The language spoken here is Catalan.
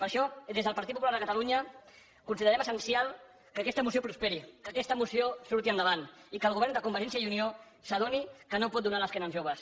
per això des del partit popular de catalunya considerem essencial que aquesta moció prosperi que aquesta moció surti endavant i que el govern de convergència i unió s’adoni que no pot donar l’esquena als joves